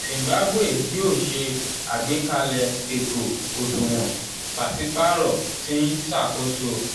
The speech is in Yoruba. zimbabwe yoo ṣe agbekalẹ eto oṣuwọn paṣipaarọ ti n ṣakoso.